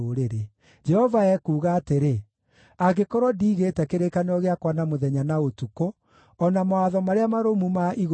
Jehova ekuuga atĩrĩ: ‘Angĩkorwo ndiigĩte kĩrĩkanĩro gĩakwa na mũthenya na ũtukũ, o na mawatho marĩa marũmu ma igũrũ na thĩ-rĩ,